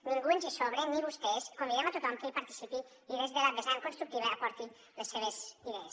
ningú ens hi sobra ni vostès convidem a tothom que hi participi i que des de la vessant constructiva hi aporti les seves idees